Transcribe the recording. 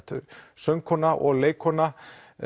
söngkona og leikkona